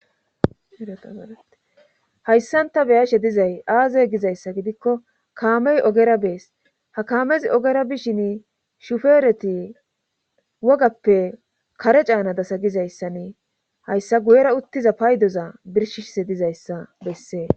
Hayssanta beyashe dizay aaze gizayssa gidikko kaamey ogera bees ha kaamezi ogera bishin shufeereti wogappe kare caana dasa gizayssannee hayssa guyera uttiza paydoza birshishse dizayssa bessee.